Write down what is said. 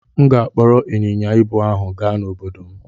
M ga-akpọrọ ịnyịnya ibu ahụ gaa n'obodo m.